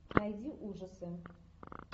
найди ужасы